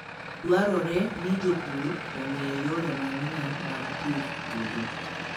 Dwarore ni jopur ong'e yore manyien mag pidh puodho.